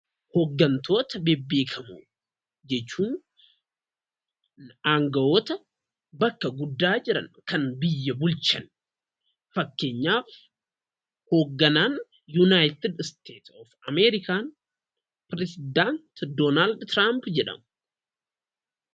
Hooggantoota bebbeekamoo jechuun aangawoota bakka guddaa jiran kan biyya bulchan. Fakkeenyaaf, hoogganaan 'Yuunaayitid Isteet Oof Amerikaan' ,pirezidaanti Doonaald Tiraamp jedhamu.